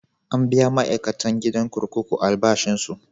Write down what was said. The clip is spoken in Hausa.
An biya ma'aikatan gidan kurkuku albashinsu.